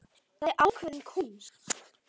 Það er ákveðin kúnst.